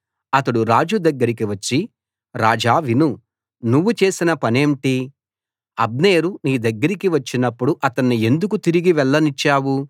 అతడు రాజు దగ్గరికి వచ్చి రాజా విను నువ్వు చేసిన పనేంటి అబ్నేరు నీ దగ్గరికి వచ్చినప్పుడు అతణ్ణి ఎందుకు తిరిగి వెళ్లనిచ్చావు